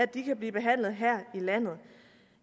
de kan blive behandlet her i landet